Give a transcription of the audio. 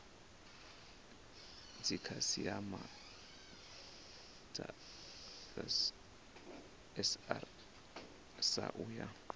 dzikhasiama dza srsa u ya